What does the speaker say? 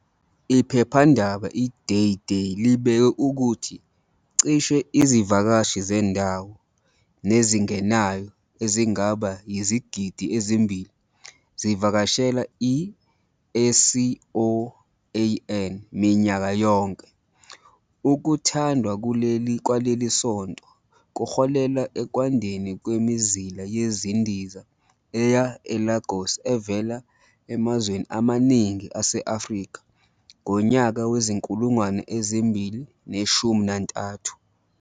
Iphephandaba i-Day Day libike ukuthi "cishe izivakashi zendawo nezingenayo ezingaba yizigidi ezimbili" zivakashela i-SCOAN minyaka yonke.. Ukuthandwa kwaleli sonto kuholele ekwandeni kwemizila yezindiza eya eLagos evela emazweni amaningi ase-Afrika ngonyaka we-2013.